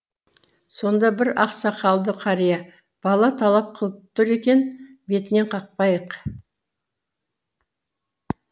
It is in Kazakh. сонда бір ақсақалды қария бала талап қылып тұр екен бетінен қақпайық